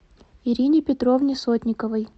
ирине петровне сотниковой